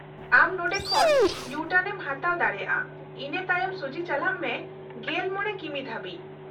-ᱟᱢ ᱱᱚᱸᱰᱮ ᱠᱷᱚᱱ ᱤᱭᱩ ᱴᱟᱨᱱ ᱮᱢ ᱦᱟᱛᱟᱣ ᱫᱟᱲᱮᱭᱟᱜᱼᱟ, ᱤᱱᱟᱹ ᱛᱟᱭᱚᱢ ᱥᱩᱡᱷᱤ ᱪᱟᱞᱟᱜ ᱢᱮ ᱑᱕ ᱠᱤᱢᱤ ᱫᱷᱟᱹᱵᱤᱡ ᱾